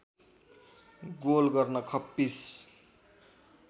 goal गर्न खप्पिस